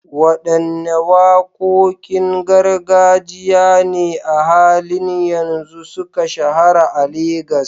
Wadanne wakokin gargajiya ne a halin yanzu suka shahara a Legas?